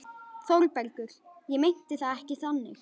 ÞÓRBERGUR: Ég meinti það ekki þannig.